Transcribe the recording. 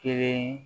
Kelen